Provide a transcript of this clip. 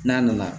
N'a nana